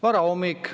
Varahommik.